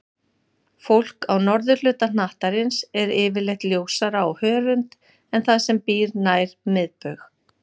Fólk á norðurhluta hnattarins er yfirleitt ljósara á hörund en það sem býr nær miðbaug.